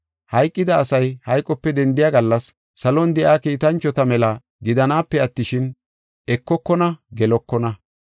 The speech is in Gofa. Hayqida asay hayqope dendiya gallas, salon de7iya kiitanchota mela gidanaape attishin, ekokona; gelekona.